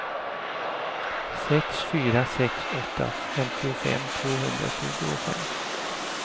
sex fyra sex åtta femtiofem tvåhundratjugofem